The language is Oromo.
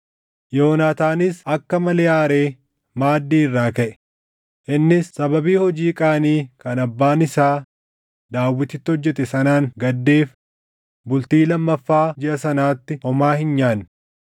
Yoonaataanis akka malee aaree maaddii irraa kaʼe; innis sababii hojii qaanii kan abbaan isaa Daawititti hojjete sanaan gaddeef bultii lammaffaa jiʼa sanaatti homaa hin nyaanne.